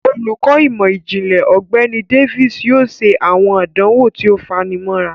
Olukọ imọ-jinlẹ Ọgbẹni Davis yoo ṣe awọn àdánwò tí o fanimọra.